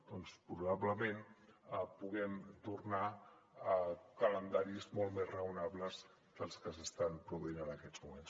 doncs probablement puguem tornar a calendaris molt més raonables dels que s’estan produint en aquests moments